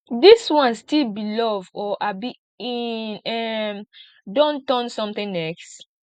dis one still be love or abi e um don turn something else